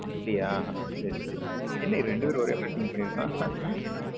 அப்பிடியா சேரி சேரி என்ன ரெண்டு பெரும் ஒரே மாரி think பண்ணிருகோம்